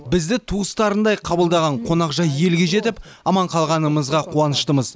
бізді туыстарындай қабылдаған қонақжай елге жетіп аман қалғанымызға қуаныштымыз